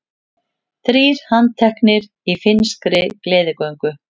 Þrír handteknir í finnskri gleðigöngu